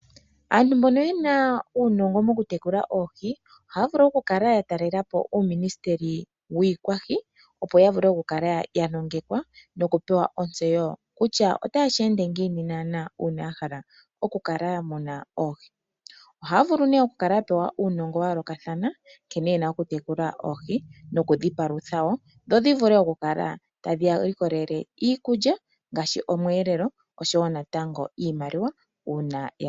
Aantu mbono yena uunongo mokutekula oohi , ohaa vulu okukala ya taalela po uuministeli wiikwahi opo ya vule okukala ya nongekwa nokupewa ontseyo kutya otaye shi ende ngiini naana uuna ya hala okukala ya mona oohi. Ohaya vulu nee okukala ya pewa uunongo wa yoolokathana nkene ye na okutekula oohi nokudhipalutha wo dho dhi vule okukala tadhi ya likolele iikulya ngaashi omweelelo osho wo natango iimaliwa uuna